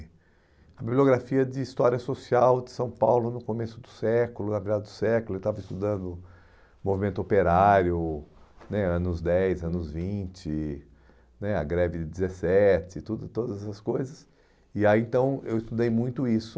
a bibliografia de história social de São Paulo no começo do século, na virada do século, eu estava estudando o movimento operário né, anos dez, anos vinte né, a greve de dezessete, tudo e todas essas coisas, e aí então eu estudei muito isso.